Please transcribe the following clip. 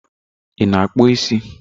Ị na akpụ isi.